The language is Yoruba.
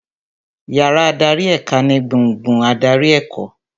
Yàrá adarí èka ni gbùngbùn adarí ẹ̀kọ́